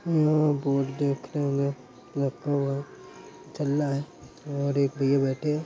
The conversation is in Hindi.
हुए चल रहा है और एक भईया बैठे हैं।